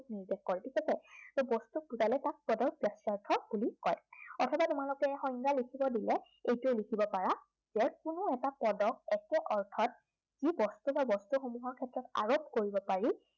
নিৰ্দেশ কৰে, ঠিক আছে, সেই বস্তুটোক বুজালে তাক পদৰ বাচ্য়াৰ্থ বুলি কয়। অথবা তোমালোকক সংজ্ঞা লিখিব দিলে, এইটোৱে লিখিব পাৰা, যে কোনো এটা পদক একে অৰ্থত যি বস্তু বা বস্তুসমূহৰ ক্ষেত্ৰত আৰোপ কৰিব পাৰি